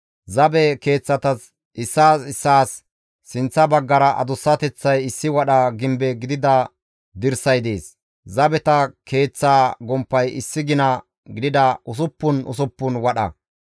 Zabe keeththatas issaas issaas sinththa baggara adussateththay issi wadha gimbe gidida dirsay dees; zabeta keeththaa gomppay issi gina gidida usuppun usuppun wadha.